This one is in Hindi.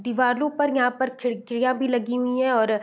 दिवालो पर यहाँ पर खिड़कियाँ भी लगी हुई है और --